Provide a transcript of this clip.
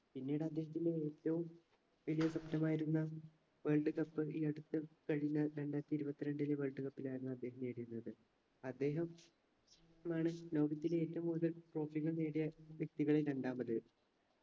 പിന്നീട് അദ്ദേഹത്തിന് ഏറ്റവും വിജയ സ്വപ്നമായിരുന്ന world cup ഈ അടുത്ത് കഴിഞ്ഞ രണ്ടായിരത്തി ഇരുപത്രണ്ടിലെ world cup ലായിരുന്നു അദ്ദേഹം നേടിയിരുന്നത് അദ്ദേഹം മാണ് ലോകത്തിലെ ഏറ്റവും കൂടുതൽ trophy കൾ നേടിയ വ്യക്തികളിൽ രണ്ടാമത്